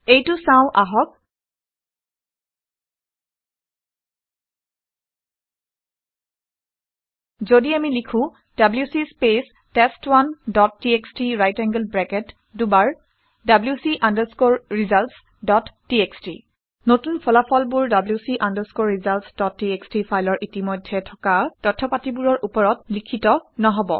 এইটো চাওঁ আহক। যদি আমি লিখো - WC speech test one dot TXT right angled bracket দুবাৰ WC underscore results dot TXT নতুন ফলাফলবোৰ WC underscore results dot TXT ফাইলৰ ইতিমধ্যে থকা তথ্য পাতিবোৰৰ ওপৰত লিখিত নহব